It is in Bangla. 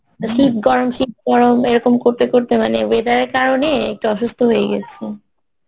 শীত গরম শীত গরম এইরকম করতে করতে মানে weather এর কারণে একটু অসুস্থ হয়ে গেছি